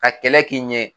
Ka kɛlɛ k'i ɲɛ